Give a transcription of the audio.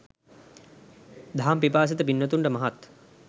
දහම් පිපාසිත පින්වතුන්ට මහත්